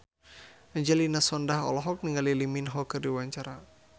Angelina Sondakh olohok ningali Lee Min Ho keur diwawancara